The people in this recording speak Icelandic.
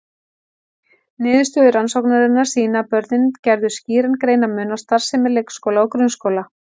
Niðurstöður rannsóknarinnar sýna að börnin gerðu skýran greinarmun á starfsemi leikskóla og grunnskóla.